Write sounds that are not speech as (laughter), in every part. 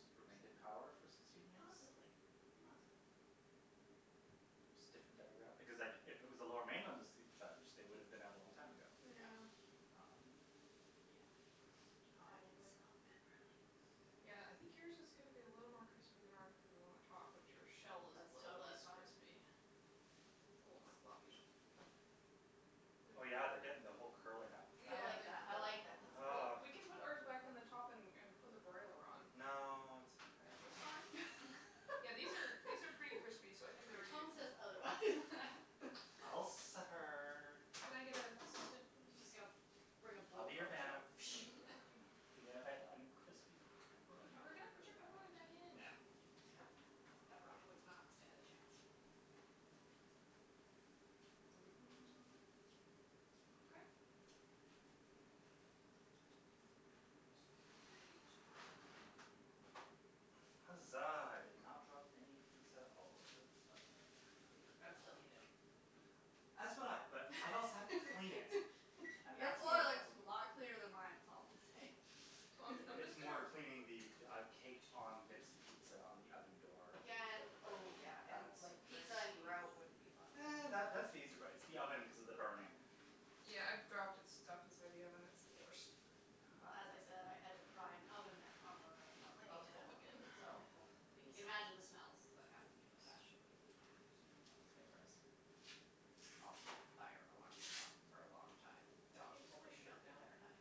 remained in power for sixteen years. Possibly, possibly. Just different demograph- because, like, if it was the Lower Mainland that was judged, they would have been out a long time ago. Yeah. Um Yeah. (noise) (noise) Oh, I can smell Probably. the pepperoni. (noise) Yeah, I think yours is gonna be a little more crispy than ours cuz we're on the top, but your shell is That's little totally less fine. crispy. It's a little more floppy. Oh, But it yeah, they're getting the whole curling up thing. I Yeah, like they're that, I like curling. that, that's Well, Ugh good. we can put ours back on the top and and put the broiler on. No, it's It's fine. okay. Yeah, these are, these are pretty crispy, so (laughs) I think they're Your ready to tone come says out. otherwise. (laughs) I'll suffer. Can I get a assistant, She's just please? gonna bring a I'll be your blowtorch out. Vanna. Thank you, (noise) darling. Even if I have uncrispy That would pepperoni. We're probably gonna work put really your well, pepperoni back actually. in, No, calm your yeah, tits. pepperoni would not stand a chance. (noise) Okay. Mm, excuse my reach. (noise) Huzzah, I did not drop any pizza all over the oven. I'd still eat it. As would I, but I'd also have to clean it (laughs) and Your that's more floor the looks problem. a lot cleaner than mine is all I'm gonna say. Well, I'm j- (noise) I'm It's just (laughs) gonna more cleaning the, uh, caked on bits of pizza on the oven door Yeah and, that would burn. oh yeah, and, That's like, pizza and grout wouldn't be fun (noise) either. That that's the easy part, it's the oven cuz of the burning. Yeah, I've dropped it stuff inside the oven; it's the worst. (noise) Well as I said, I had to pry an oven mitt off of a, of I need oven help element, again. so (noise) Help, you please. can imagine the smells that happened with that. Let's shove Yeah, that it (inaudible) was a bit gross. Also, the fire alarm went off for a long time and the Can dog you was pull my freaking out shirt the down? entire time.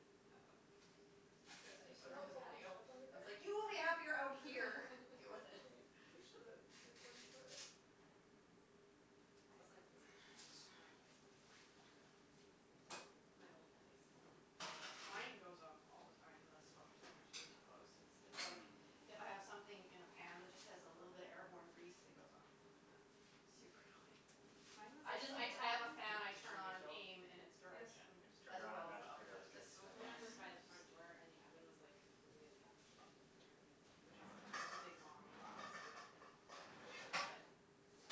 It was not Yes, good. I do had you to see put her how on the it's all bunched patio. up under I was there? like, "You will be happier out here." "Deal with it." Can you push the recording part up? I Up. set (noise) the smoke alarm off in my Thanks. (noise) place once making pizza. My old place. Mm. Mine goes off all the time. The smoke detector's way too close. It's, it's like Mm. if I have something in a pan that just has a little bit of airborne grease, it goes off. Oh. Super annoying. Mine I was, just like I d- I have a (inaudible) fan I Did did you turn on and refill? aim in its Yes. direction I just turned as around and well as the magically oven there hood. was The drinks in my smoke glass. alarm was by the (laughs) front (inaudible) door and the oven was, like, completely at the opposite end of my apartment which was, like, just a big long box, basically. But, yeah,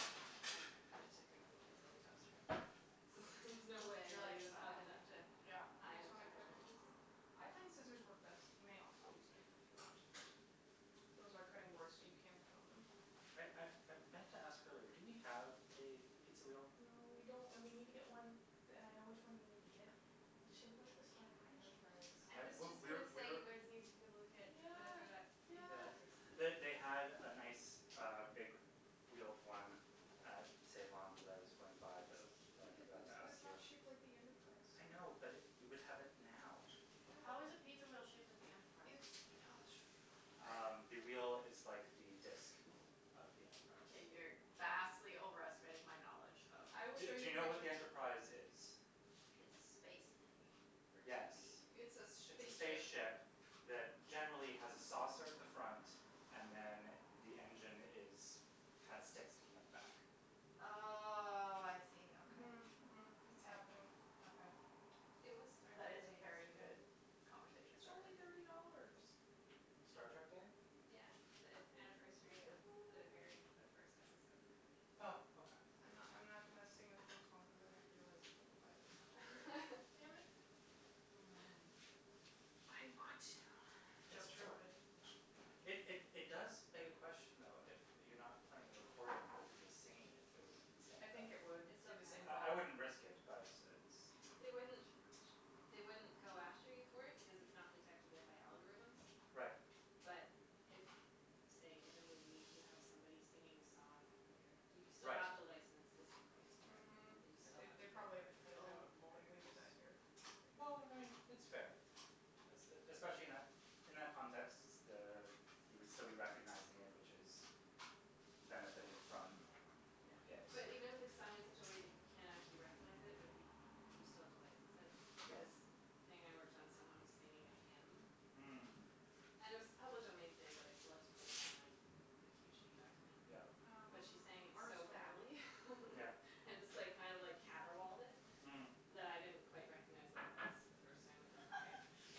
I went to cooking pizza in the toaster oven after that cuz it was like, "There's no way You're I'm like getting "It's this not oven happening." up to Yeah. Do you high guys enough wanna cut up temperature" your pizza? I find scissors work best. You may also use knife if you want but those are cutting boards, so you can cut on them. I I I meant to ask earlier, do we have a pizza wheel? No, we don't, and we need to get one, d- and I know which one you need to get. It's shaped like the Star Trek I know. Enterprise. I I, was we, just we're, gonna say we're you guys need to go look at whatever that, Yeah, Think yeah. Yes. Geeks or (noise) something. They, they had a nice, uh, big wheeled one at Save On that I was going to buy, but I feel then like I it was, forgot to but ask it's you. not shaped like the Enterprise, so I know, but we would have it now. I know How but is a pizza wheel shaped like the It's Enterprise? (inaudible) Um, the wheel is like the disk of the Enterprise. Okay, you're vastly overestimating my knowledge of I will Do show do you you know what what the you're Enterprise is? It's a space thingy for Yes, TV. It's a s- sh- it's a spaceship. spaceship that generally has a saucer at the front and then the engine is, kinda sticks, sticking out the back. Oh, I see, okay. Mhm, mhm. It's happening. Okay. It was Star That Trek is a Day very yesterday. good conversation It's starter. only thirty dollars. Star Trek Day? Yeah, the anniversary of the airing (noise) of the first episode of the original series. Oh, okay. I'm not, I'm not gonna sing the theme song cuz then I've realized it probably violates copyright. Damn it. Yeah. Mm. But I want to. (noise) It's Joke true. thwarted. It, it, it does beg a question, though, if you're not playing the recording, but if you're just singing it, if it would be the (noise) same I thing. think it would It be still the same counts. I, I problem. wouldn't risk it, but it's They wouldn't, She knows. they wouldn't go after you for it because it's not detectable by algorithms. Right. But if, say, in a movie you have somebody singing a song, like a, you still Right. have to license the sync rights for Mhm, it. That you still they, have they put probably have to the cut it Oh, out if we lawyers. did that here. Well, I mean, it's fair. Es- e- especially in that, in that context, s- the, you would still be recognizing it, which is benefiting from Yeah, it. but even if it's sung in such a way that you can't actually recognize it but if you, you still have to license it, like Yeah. this thing I worked on, someone was singing a hymn. Mm. And it was a public domain thing, but I still had to put it on the the cue sheet document. Yeah. Um, But she sang it ours are so still in the oven. badly. Yeah. (laughs) And just, like, kind of like caterwauled it Mm. that I didn't quite recognize what it was the first time it went by.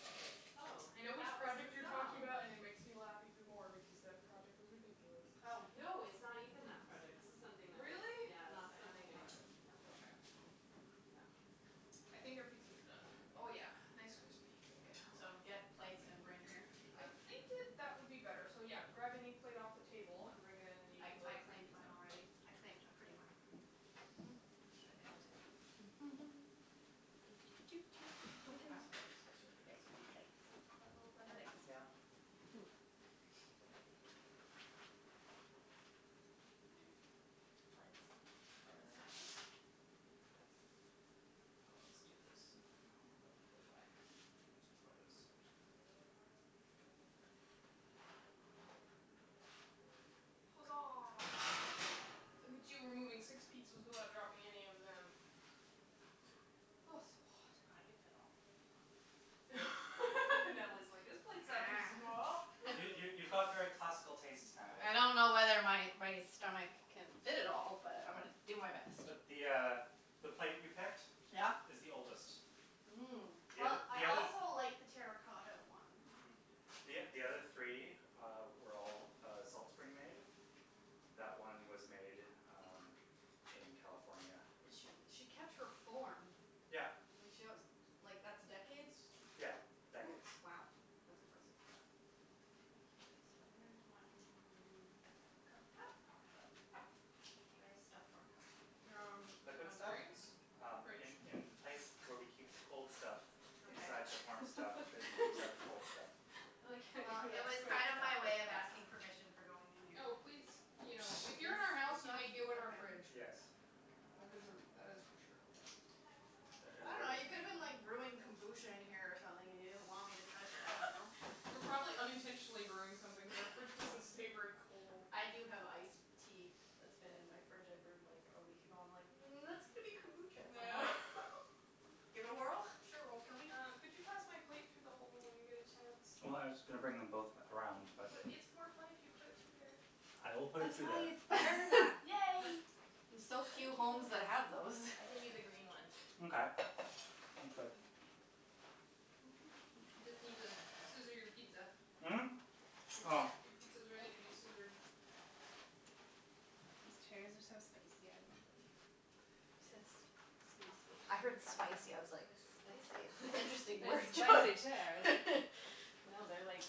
I was like, oh, I know which that was project you're the talking song. about and it makes me laugh even more because that project was ridiculous. Oh. No, it's not even that project. This is something that was Really? Yeah, this Not is the animal something I, project? no Okay. No. Oh. Hm. I think our pizzas are done. Oh yeah, nice, crispy, bacon So, get (inaudible) plates and bring here, is I that? think (noise) that that would be better. So, yeah, grab any plate off the table and bring it in and you I, can I load up your claimed mine pizza. already. I claimed a pretty one. Are they all different? Oh, they So, are. this is your (laughs) (noise) Very pretty pizza. plates. Is that, is that a little I better? like this Yeah. one. There we go. (noise) Okay. Foots. Foots time. Ah Let's do this and then we'll let people by. I need to lower this, actually. (inaudible) Huzzah. Look at you removing six pizzas without dropping any of them. Oh, it's so hot. I can fit all my pizza on my plate. (laughs) Natalie's like, "This plate's not too small." (laughs) You, you, you've got very (noise) classical tastes, Natalie. I don't know whether my my stomach can fit it all, but I'm Right. gonna do my Yep. best. But the uh the plate you picked Yeah? is the oldest. Mmm. The Well, oth- the I other also like the terra cotta one. Mhm. The o- the other three, uh, were all, uh, Salt Spring made. That one was made, um, in California. But she, she kept her form. Yeah. Like she wants, like that's decades? Yeah, decades. W- wow, that's impressive. Yeah. Okay, so where's my m- cup, cup, cup, cup? Where is stuff for cup? Um, do you Liquid want stuff? drinks? Um, Fridge. in, in the place where we keep the cold stuff (laughs) Okay. inside the warm stuff that keeps (laughs) out the cold stuff. I like how Well, it was kind of my way of asking you (inaudible) permission for going in here. Oh, please. You know, if (noise) you're in our house, you may go in our fridge. Yes. That is a, that is for sure. Yeah. Ah the I ah dunno, you could have the been like brewing kombucha in here or something and you didn't want me to touch it, I don't know. (laughs) We're probably unintentionally brewing something because our fridge doesn't stay very cold. (laughs) I do have ice tea that's been in my fridge I brewed like a week ago. I'm like, "Mm, that's going to be kombucha at some point." (laughs) Give it a whirl, (noise) I'm sure it won't kill me. Uh, could you pass my plate through the hole when you get a chance? Well, I was just gonna bring them both around, but But it's more fun if you put it through there. I will put it That's through why there. it's (laughs) there, Matt. Yay! There's so Thank few homes you. that have those. I give you the green one. Mkay. (noise) Thanks, babe. (noise) You just need to scissor your pizza. Mm? (noise) Your Oh. sci- (noise) your pizza is ready to be scissored. These chairs are so spicy. I love them. I just work. I I I said heard s- spacey. wasn't sure how many spicy. I was like, slices you wanna do. "Spicy? It's an Cuts pretty (laughs) interesting Those word easily. spicy chairs. You choice." can (laughs) also cut it with the knife No, if you they're, like want.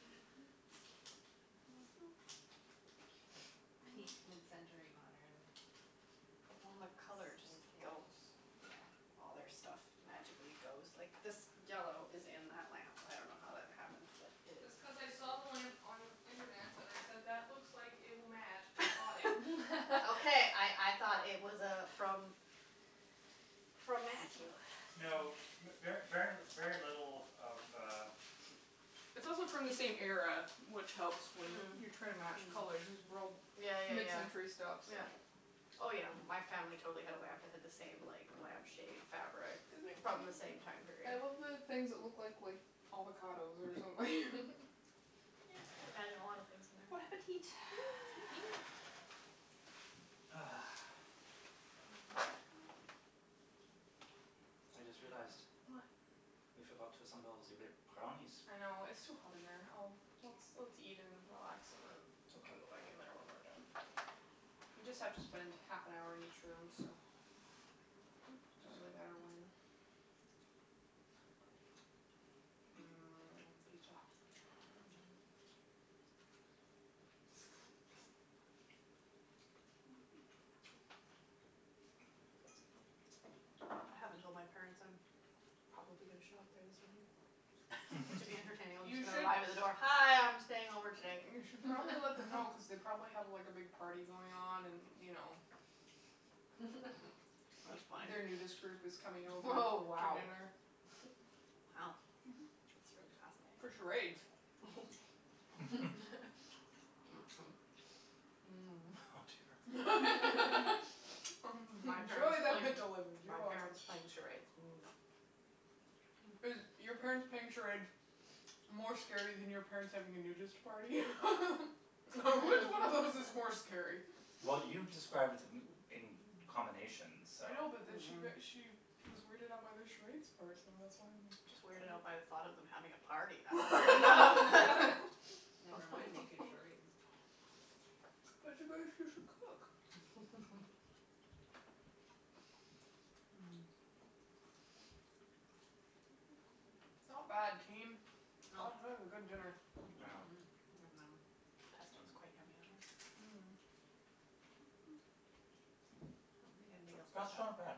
Mhm. Like, peak mid-century modern, Well, and the colour just space age. goes. Yeah. All their stuff magically goes. Like, this yellow is in that lamp. I dunno how that ever happened, but it is. That's cuz I saw the lamp on internets and I said, "That looks like it will match," and I bought it. (laughs) Okay, I I thought it was uh from (laughs) from Matthew. (noise) No, Funny. mer- ver, very, very little of uh It's also from the same era, which helps when you're trying to match Mhm. colors. These are all Yeah, yeah, yeah. mid-century stuff, so Oh, yeah. My family totally had a lamp that had the same like lamp shade fabric Isn't it from the cute? same (noise) time I period. love the things that look like, like avocados or something. (laughs) Yeah, I can imagine a lot of things in there. Bon appetit. (noise) (noise) Eat. Ah. I just realized What? we forgot to assemble ze b- brownies. I know. It's too hot in there. I'll Let's, let's eat and relax and then we can Okay. go back in there when we're done. We just have to spend half an hour in each room, so, doesn't really matter when. Mmm, pizza. I haven't told my parents I'm probably gonna show up there this evening. (noise) (noise) But to be (laughs) entertaining (laughs) I'm You just gonna should arrive at the door, "Hi, I'm staying over today." You should probably let them know cuz they probably have, like, a big party going on and, you know That's funny. their nudist (noise) group is coming over Oh, for wow. dinner. Wow, that's really For fascinating. charades. (noise) (laughs) (laughs) (noise) (laughs) Oh (noise) (laughs) Enjoy dear. My parents the playing, mental image, you're my welcome. parents playing charades, no. Is your parents playing charades more scary than your parents having a nudist party? (laughs) (laughs) Which one of those is (noise) more scary? Well, you described b- d- m- in combination, so I know, but then she got, Mhm. she was weirded out by the charades part, so that's why I'm Just weirded out (inaudible) by the thought of them having a party. That's weird enough. (laughs) Never mind making charades. (laughs) But it's a (inaudible) cook. (noise) (laughs) (noise) (noise) (noise) Not bad, Well team. (noise) That is a good dinner. Yeah. Mhm. (noise) Yum num. (noise) Pesto is (noise) quite Mm. yummy on here. (noise) I Mmm. don't think (noise) anybody The else (noise) did crust's not that. bad.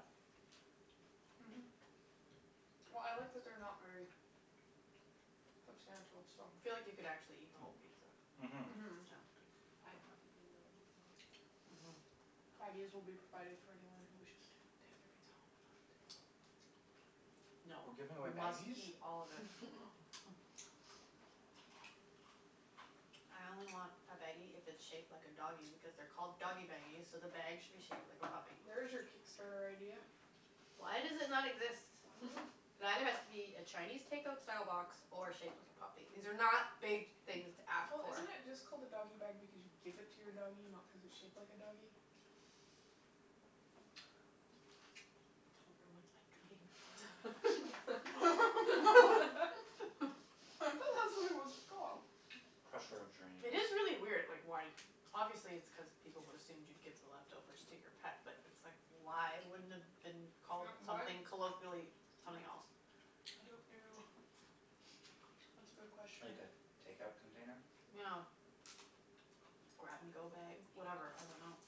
Mhm. Well, I like that they're not very substantial, so I (noise) feel like you could actually eat the whole pizza. (noise) Mhm. No. Mhm. I probably will eat the whole pizza. Mhm. (noise) Baggies will be provided for anyone who wishes to take a pizza home and not eat it all. (noise) No, We're giving away we must baggies? eat all of it. (laughs) I only want a baggie if it's shaped like a doggy because they're called doggy baggies, so the bag should be shaped like a puppy. (noise) There is your Kickstarter idea. Why does it not exist? I dunno. It either has to be (laughs) a Chinese takeout style box or shaped like a puppy. These are not big things to ask Well, for. isn't it just called a doggy bag because you give (noise) it to your doggy, not cuz it's shaped like a doggy? (noise) Don't ruin my (noise) dream. (laughs) I thought (noise) that's what it was (laughs) (laughs) called. Crusher of dreams. It is really weird, like why Obviously it's cuz people would assumed you'd give the leftovers to your pet, but it's like, (noise) why wouldn't it have been called Yeah, why something (noise) Mm. colloquially, (noise) I something else? don't know. (noise) (noise) That's a good (noise) question. Like a takeout container? (noise) Yeah. (noise) (noise) (noise) grab-and-go bag, whatever. I dunno.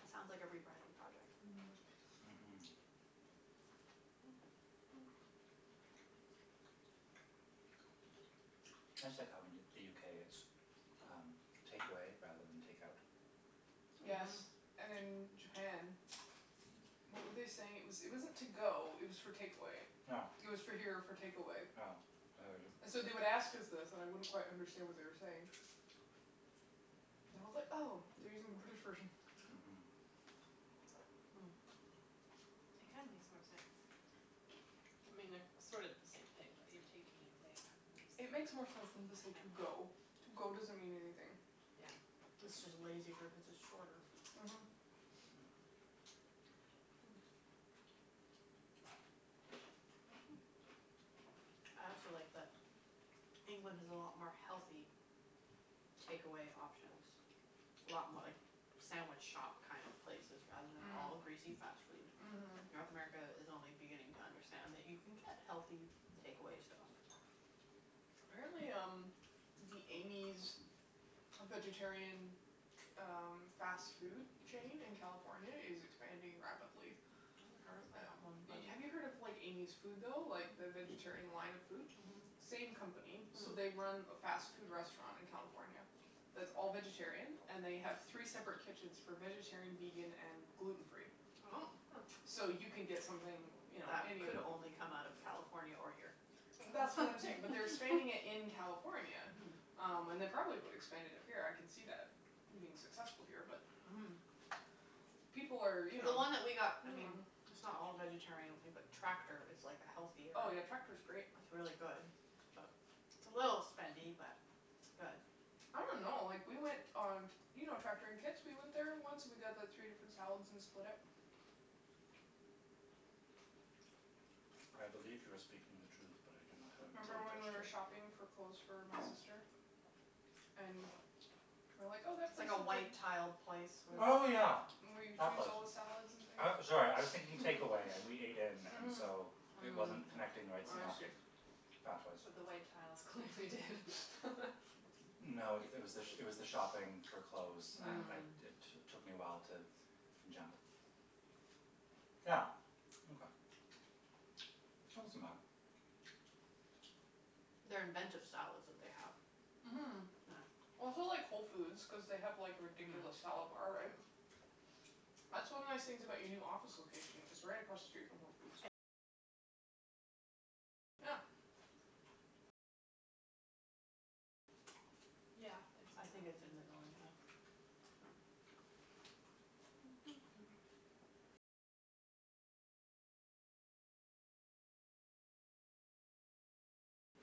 That sounds like a rebranding project. Mhm, (noise) that's (inaudible) Mhm. (noise) That's like how in the UK, it's um takeaway rather than takeout. (noise) (noise) Yes. Mhm. And in Japan, (noise) what were they saying? It was, it wasn't to-go, it was for takeaway. Yeah. It (noise) was for here or for takeaway. Yeah, I heard it. So they would ask us this and I wouldn't quite understand what they were saying. (noise) And I was like, "Oh, they're (noise) using the British version." (noise) Hmm. It kinda makes more sense. I mean, they're sort of the same Mhm. thing, but you're taking it away rather (noise) than just It like makes more sense than taking to say it "to-go". out. (noise) "to-go" doesn't mean anything. Yeah. (noise) It's just a (noise) lazy word cuz it's shorter. Mhm. (noise) (noise) I also like that England has a lot more healthy takeaway options. A lot mo- like sandwich shop kind of places rather than all Mm. greasy fast Mm. food. (noise) (noise) Mhm. North Mhm. America Mhm. is only beginning to understand that you can get healthy takeaway stuff. (noise) Apparently, um, the Amy's vegetarian ch- um fast food chain in California is expanding rapidly. I haven't heard of that one, but (noise) Have you heard of like Amy's Food, though, like the vegetarian line of food? Mhm. Mm. Same company. So, they run a fast food restaurant in California that's all vegetarian. And they have three separate kitchens (noise) for vegetarian, vegan and gluten free. Oh. (noise) So you can get something, you know That any of could only come out of California or here. That's what I'm saying, but they're expanding it in California. Um, and they probably would expand it up here. I can see that being successful here, but Mhm. people are, you know. The one that we got, I mean (noise) it's not all vegetarian, I don't think, but Tractor is like a healthier Oh, yeah, Tractor's great. It's really good, but It's a little spendy, but it's good. (noise) I don't know. Like, we went on t- You know Tractor in Kits? We went there once and we got the three different salads and split it. I believe you are speaking the truth, but I do not have a (noise) Remember when we memory were attached to it. shopping for clothes for my sister? And we were like, "Oh, that It's place like a looks like" white-tiled (noise) place We with Oh went yeah, Where you that choose place. all the salads and things. I, sorry, I was thinking takeaway and we ate in and Mhm. so it wasn't connecting the right I see. synaptic pathways. But the white tiles clearly did. No, it was the, it was the shopping (laughs) for clothes. I, I, it t- took me a while to jump. Yeah, okay. That wasn't bad. They're inventive salads that they have. Mhm. Yeah. That's why I like Whole Foods cuz they have like a ridiculous salad bar, right? That's one of the nice things about your new office location, it's right across the street from Whole Foods. Yeah. Yeah, I think it's in the building, yeah.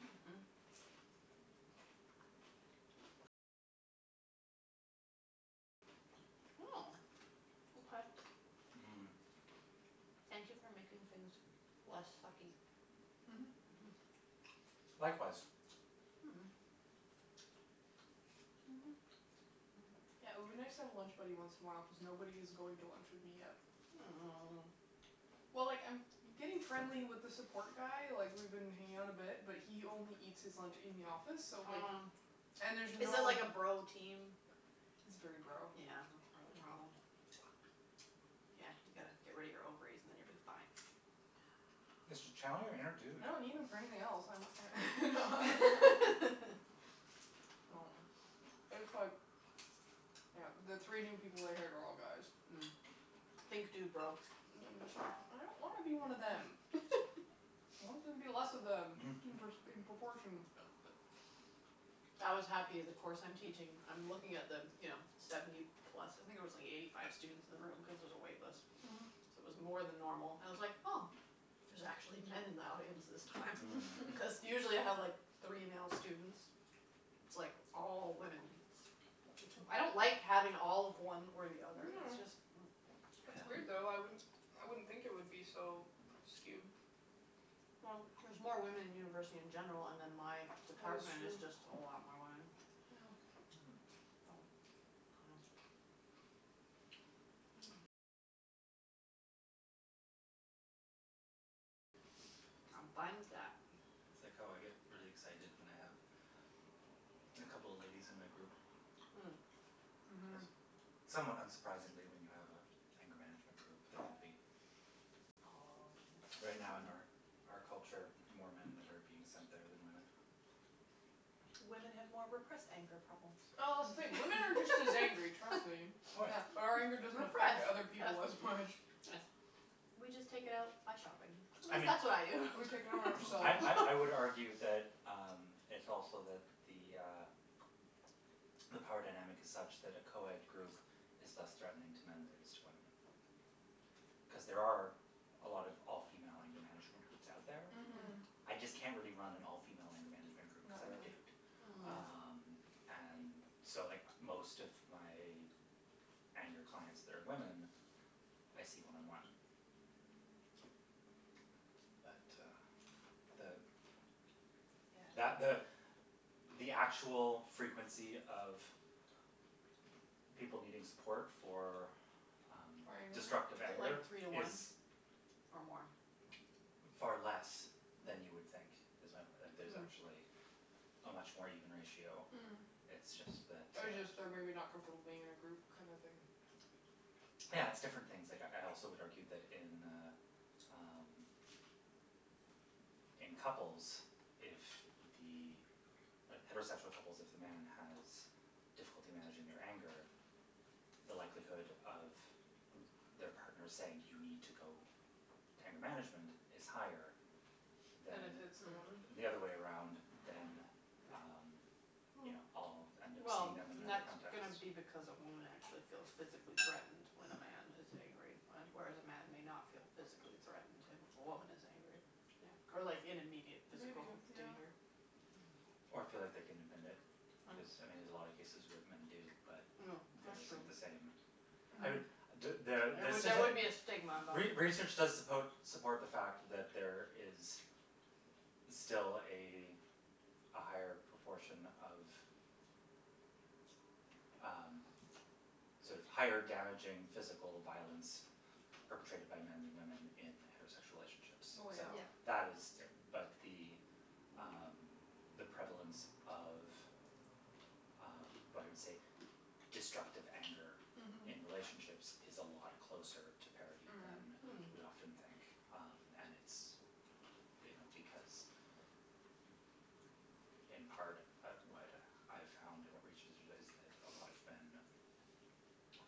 Mhm. Oh, okay. Mhm. Thank you for making things less sucky. Mhm, Mhm. Likewise. Yeah, it would be nice to have a lunch buddy once in a while cuz nobody is going to lunch with me yet. Oh. Well, like, I'm getting friendly with the support guy, like, we've been hanging out a bit, but he only eats his lunch in the office so, like. Oh. And there's no. Is it like a bro team? It's very bro. That's part Yeah. of the problem. Yeah, you gotta get rid of your ovaries and then you'll be fine. Just tell them you're a dude. I don't need them for anything else. (laughs) No, it's like. (noise) Yeah. the three new people they hired are all guys. Mm. Think dudebro. And I'm just, like, I don't wanna be one of them. I want there to be less of them in in proportion. I was happy. The course I'm teaching, I'm looking at the, you know, seventy plus. I think there was like eighty five students in the room cuz there's a wait list, so Mhm. it was more than normal. I was like oh, there's actually men in the audience this time. Because usually I have like three male students, it's like all women. I don't like having all of one or the other. It's just. No. It's It's weird, weird, though. though. I wouldn't I wouldn't think it would be so skewed. Well, there's more women in university in general, and then my department is just a lot more women. Yeah. I'm fine with that. It's like how I get really excited when I have a couple of ladies in my group. Cuz Mhm. somewhat unsurprisingly when you have an anger management group, there would be. All men. Right now in our out culture, more men that are being sent there than women. Women have more repressed anger problems. Oh, wait, women are just as angry, trust me. Yeah, but our anger doesn't affect Repressed, other people as much. yes. We just take it out by shopping, at least that's what I do. We take it out on I I I would ourselves. argue that um it's also that the uh the power dynamic is such that a co-ed group is less threatening to men than it is to women. Cuz there are a lot of all female anger management groups out there. Mhm. I just can't really run an all female anger management group cuz I'm a dude. Oh. Um, and so, like, most of my anger clients that are women, I see one on one. But uh the. That Yeah. the the actual frequency of people needing support for um For anger? Is destructive it anger like three to is. one or more? Far less than you would think. Is my point, like there's actually a much more even ratio. Mm. It's just that Or uh. just they're maybe not comfortable being in a group kind of thing. Yeah, it's different things. Like, I also would argue that in uh um in couples, if the heterosexual couples, if the man has difficulty managing their anger, the likelihood of their partner saying, "You need to go to anger management," is higher Than if than. it's the woman? The other way around than um, you know, I'll end up Well, seeing them in and that that's context. going to be because a woman actually feels physically threatened when a man is angry, whereas a man may not feel physically threatened if a woman is angry. Yeah. Or like in immediate Maybe, physical yeah. danger. Or feel like they can admit it cuz, I mean, there's a lot of cases where men do, but that isn't the same. No. I mean. There there would be a stigma involved. Re research does suppo support the fact that there is still a a higher proportion of um sort of higher damaging physical violence perpetrated my men than women in heterosexual relationships. So Well, yeah. that is but the um the prevalence of um what I would say destructive anger in relationships is a lot closer to parity than Mhm. we often think. Mm. And it's, you know, because in part, what I found in research is that a lot of men